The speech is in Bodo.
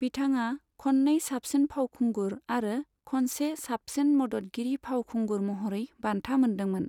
बिथाङा खननै साबसिन फावखुंगुर आरो खनसे साबसिन मददगिरि फावखुंगुर महरै बान्था मोन्दोंमोन।